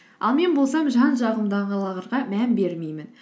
ал мен болсам жан жағымдағыларға мән бермеймін